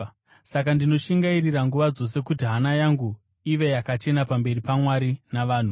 Saka ndinoshingairira nguva dzose kuti hana yangu ive yakachena pamberi paMwari navanhu.